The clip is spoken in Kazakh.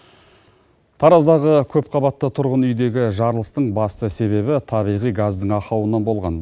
тараздағы көпқабатты тұрғын үйдегі жарылыстың басты себебі табиғи газдың ақауынан болған